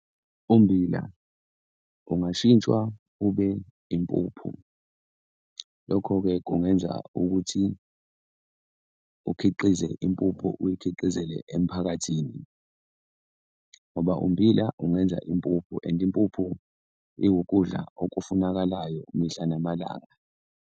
Ummbila ungashintshwa ube impuphu. Lokho-ke kungenza ukuthi ukhiqize impuphu uyikhiqizeke emiphakathini ngoba ummbila ungenza impuphu and impuphu iwukudla okufunakalayo mihla namalanga.